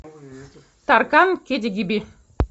таркан кидигиби